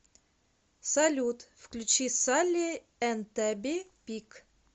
салют включи салли энд табби пик